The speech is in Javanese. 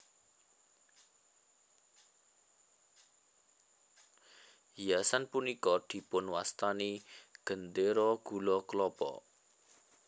Hiasan punika dipun wastani Gendera Gula Klapa